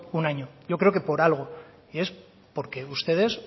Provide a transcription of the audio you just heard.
un año yo creo que por algo y es porque ustedes